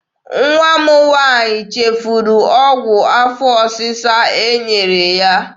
Nwa m nwaanyị chefuru ọgwụ afọ ọsịsa e nyere ya.